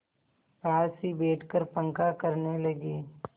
पास ही बैठकर पंखा करने लगी